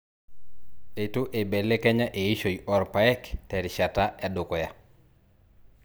Eitu eibelekenya eishoi oorpaek te rishata edukuya